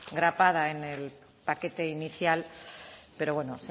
grapada en el paquete inicial pero bueno